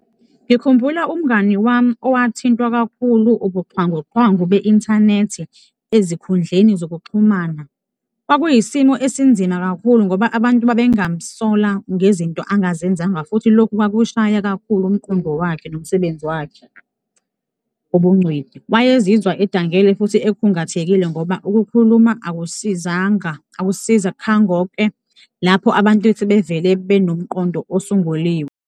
Ngikhumbula umngani wami owathintwa kakhulu ubuxhwanguxhwangu be-inthanethi ezikhudleni zokuxhumana. Kwakuyisimo esinzima kakhulu ngoba abantu babengamsola ngezinto angazenzanga futhi lokhu kwakushaya kakhulu umqondo wakhe nomsebenzi wakhe, ubungcweti. Wayezizwa edangele futhi ekhungathekile ngoba ukukhuluma akusisizanga, akusizakhangoke lapho abantu sebevele benomqondo osunguliwe.